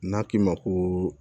N'a k'i ma koo